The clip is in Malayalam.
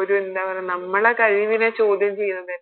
ഒരു എന്താ പറയാ നമ്മളെ കഴിവിനെ ചോദ്യം ചെയ്യുന്നത്